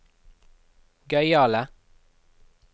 gøyale